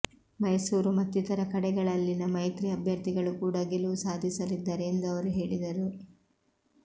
ಮೈಸೂರು ಮತ್ತಿತರ ಕಡೆಗಳಲ್ಲಿನ ಮೈತ್ರಿ ಅಭ್ಯರ್ಥಿಗಳು ಕೂಡಾ ಗೆಲುವು ಸಾಧಿಸಲಿದ್ದಾರೆ ಎಂದು ಅವರು ಹೇಳಿದರು